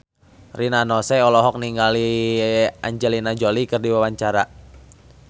Rina Nose olohok ningali Angelina Jolie keur diwawancara